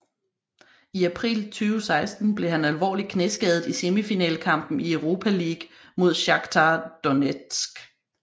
I april 2016 blev han alvorligt knæskadet i semifinalekampen i Europa League mod Shaktar Donetsk